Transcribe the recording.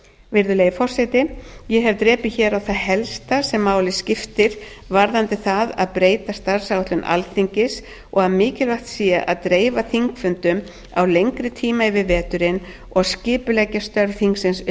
virðulegi forseti ég hef drepið hér á það helsta sem máli skiptir varðandi það að breyta starfsáætlun alþingis og að mikilvægt sé að dreifa þingfundum á lengri tíma yfir veturinn og skipuleggja störf þingsins upp á